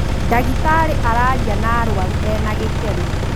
Ndagĩtarĩ araaria na arũaru ena gĩkeno